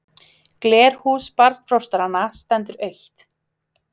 Glerhús barnfóstranna stendur autt.